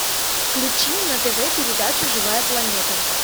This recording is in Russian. включи на тв передачу живая планета